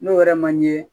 N'o yɛrɛ man ɲɛ